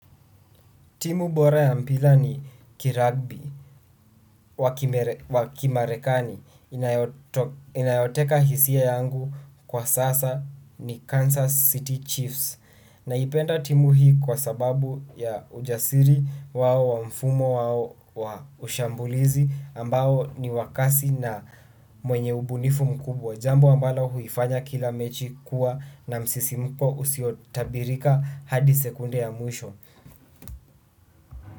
Timu bora ya mpira ni kiragbi wa kimarekani inayoteka hisia yangu kwa sasa ni Kansas City Chiefs naipenda timu hii kwa sababu ya ujasiri wao wa mfumo wao wa ushambulizi ambao ni wa kasi na mwenye ubunifu mkubwa jambo ambalo huifanya kila mechi kuwa na msisimuko usiotabirika hadi sekunde ya mwisho.